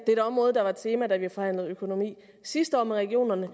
det er et område der var et tema da vi forhandlede økonomi sidste år med regionerne